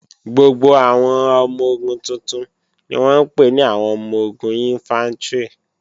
Gbogbo àwọn ọmọ-ogun tuntun ni wọ́n ń pè ní àwọn ọmọ-ogun Ìnfántrì